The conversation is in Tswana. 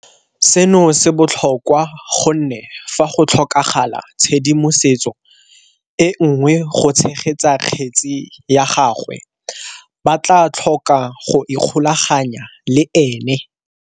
Seno se botlhokwa gonne fa go tlhokagala tshedimosetso e nngwe go tshegetsa kgetse ya gagwe ba tla tlhoka go ikgolaganya le ene.